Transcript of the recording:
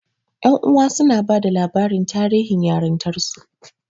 Ƴan uwa suna bada labarin tarihin yarintarsu.